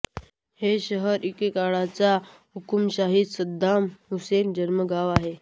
हे शहर इराकचा एकेकाळचा हुकुमशहा सद्दाम हुसेनचे जन्मगाव आहे